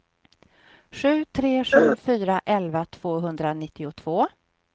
sju tre sju fyra elva tvåhundranittiotvå